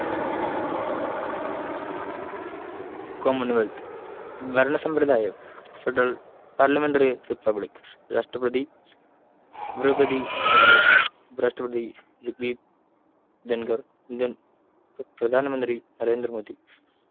common whelth ഭരണസമ്പ്രദായം federal parliamentary republic രാഷ്‌ട്രപതി ദ്രൗപദി മുർമു ഉപരാഷ്ട്രപതി ജഗ്‌ദീപ് ധൻകർ Indian പ്രധാനമന്ത്രി നരേന്ദ്ര മോദി